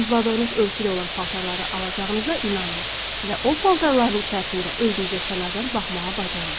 Arzuladığınız ölçüdə olan paltarları alacağınıza inanın və o paltarların içərisində özünüzə kənardan baxmağa bacarın.